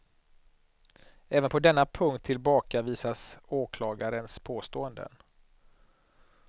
Även på denna punkt tillbakavisas åklagarens påståenden.